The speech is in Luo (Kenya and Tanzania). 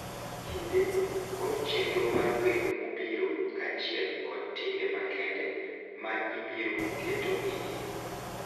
Kinde, kod chenro mar welo mobiro, kaachiel kod timbe makende ma ibiro keto e iye.